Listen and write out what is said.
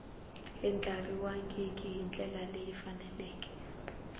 andlariwangi hi ndlela leyi faneleke